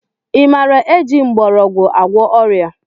I maara eji mgbọrọgwụ agwọ ọrịa?